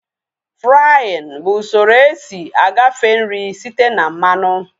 Fraaịn bụ usoro esi agafe nri site na mmanụ